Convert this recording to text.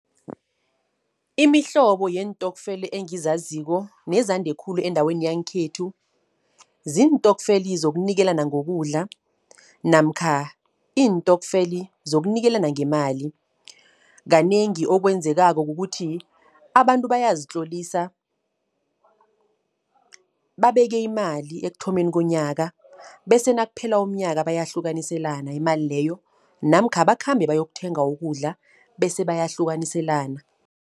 Imihlobo yeentokfela, engizaziko nezande khulu endaweni yangekhethu. Ziintokfela zokunikelana ngokudla, namkha iintokfela zokunikelana ngemali. Kanengi okwenzekako kukuthi, abantu bayazitlolisa, babeke imali ekuthomeni komnyaka, bese nakuphela umnyaka bayahlukaniselana imali leyo. Namkha bakhambe bayokuthenga ukudla, bese bayahlukaniselana.